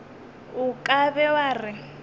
o ka be wa re